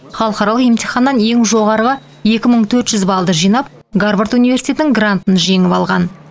халықаралық емтиханнан ең жоғарғы екі мың төрт жүз балды жинап гарвард университетінің грантын жеңіп алған